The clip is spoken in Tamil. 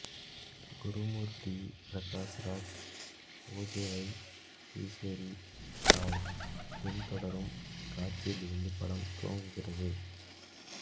குரு மூர்த்தி பிரகாஷ் ராஜ் பூஜைவை ஈஸ்வரி ராவ் பின் தொடரும் காட்சியிலிருந்து படம் துவங்குகிறது